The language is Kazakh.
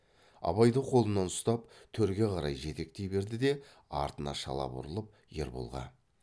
абайды қолынан ұстап төрге қарай жетектей берді де артына шала бұрылып ерболға